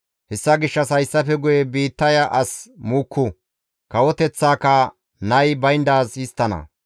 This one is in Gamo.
Hessa gishshas hayssafe guye biittaya as muukku; kawoteththaaka nay bayndaaz histtike.